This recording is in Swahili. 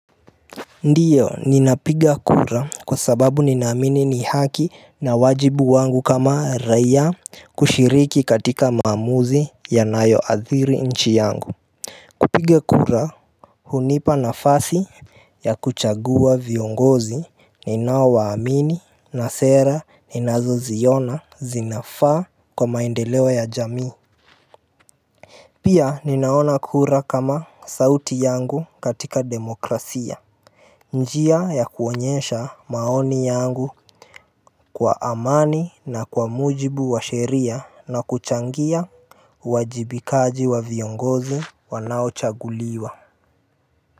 Ndio ninapiga kura kwa sababu ninaamini ni haki na wajibu wangu kama raia kushiriki katika maamuzi ya nayo athiri nchi yangu kupiga kura hunipa nafasi ya kuchagua viongozi ninao waamini na sera ninazo ziona zinafaa kwa maendeleo ya jamii Pia ninaona kura kama sauti yangu katika demokrasia njia ya kuonyesha maoni yangu kwa amani na kwa mujibu wa sheria na kuchangia Huajibikaji wa viongozi wanao chaguliwa.